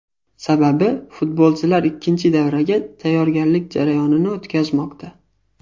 Sababi, futbolchilar ikkinchi davraga tayyorgarlik jarayonini o‘tkazmoqda.